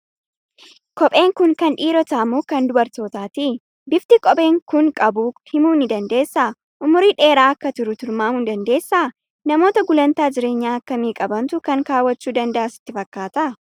Kopheen kun kan dhiirotaa moo kan dubaraati? Bifti kopheen kun qabu himuu ni dandeessaa? Umurii dheeraa akka turu tilmaamuu ni dandeessaa? Namoota gulaantaa jireenya akkamii qabantu kan kaawwachuu danda'a sitti fakkaata?